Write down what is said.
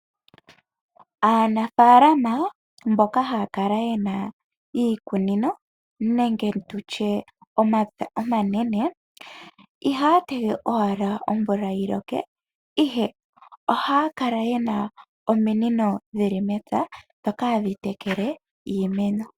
Aanafaalama mboka haya kala yena iikunino nenge tushe omapya omanene ihaya tege owala omvula yiloke ihe ohaya kala yena ominino dhili mepya dhoka hadhitekele iimeno.